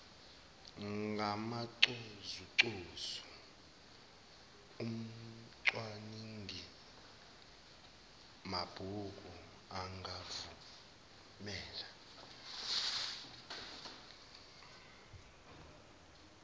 ngamancozuncozu umcwaningimabhuku angakuvumela